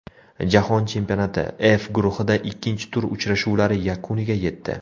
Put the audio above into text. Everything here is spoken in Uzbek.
Jahon chempionati, F guruhida ikkinchi tur uchrashuvlari yakuniga yetdi.